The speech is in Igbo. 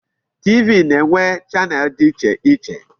TV na-enwe channel dị iche iche.